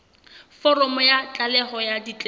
foromo ya tlaleho ya ditletlebo